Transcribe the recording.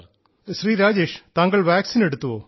ഓഹോ ശ്രീ രാജേഷ് താങ്കൾ വാക്സിൻ എടുത്തുവോ